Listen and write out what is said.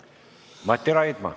Mati Raidma.